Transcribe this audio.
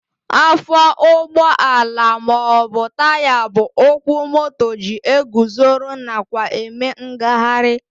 Afọ ụgbọala maọbụ Taya bụ ụkwụ moto ji eguzoro nakwa eme ngagharị